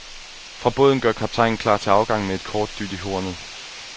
Fra båden gør kaptajnen klar til afgang med et kort dyt i hornet.